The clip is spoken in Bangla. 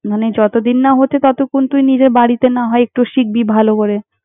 মানে যতদিন না হচ্ছে, ততক্ষণ তুই নিজে বাড়িতে না হয় একটু শিখবি ভালো করে।